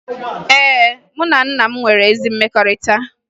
Ee, mụ na nna m nwere ezi mmekọrịta